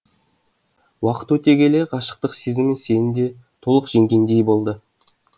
уақыт өте келе ғашықтық сезімі сені де толық жеңгендей болды